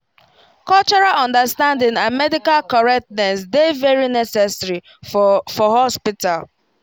cultural understanding and medical correctness dey very necessary for for hospital